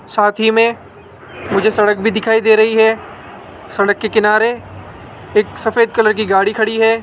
साथ ही में मुझे सड़क भी दिखाई दे रही है सड़क के किनारे एक सफेद कलर की गाड़ी खड़ी है।